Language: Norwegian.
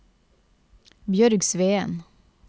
Bjørg Sveen